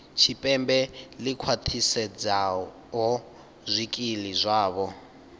tshipembe ḽi khwaṱhisedzaho zwikili zwavho